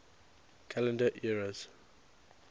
calendar eras